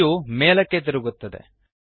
view ಮೇಲಕ್ಕೆ ತಿರುಗುತ್ತದೆ